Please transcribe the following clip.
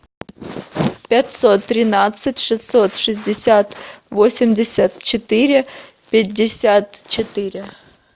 пятьсот тринадцать шестьсот шестьдесят восемьдесят четыре пятьдесят четыре